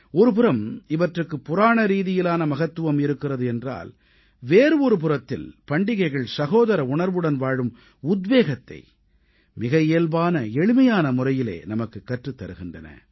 ஒருபுறம் இவற்றுக்கு புராணரீதியிலான மகத்துவம் இருக்கின்றது என்றால் வேறு ஒருபுறத்தில் பண்டிகைகள் சகோதர உணர்வுடன் வாழும் உத்வேகத்தை மிக இயல்பான எளிமையான முறையிலே நமக்குக் கற்றுத் தருகின்றன